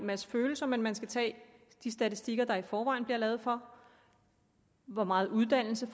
masse følelser men man skal tage de statistikker der i forvejen bliver lavet for hvor meget uddannelse